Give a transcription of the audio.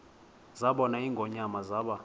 zabona ingonyama zaba